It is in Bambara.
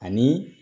Ani